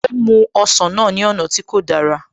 Ó mú ọsàn náà ní ọ̀nà tí kò dára